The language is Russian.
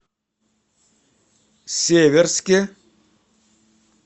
северске